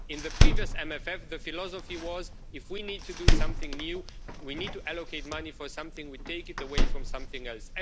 In the previous MFF, the philosophy was that if we need to do something new, if we need to allocate money for something, we take it away from something else.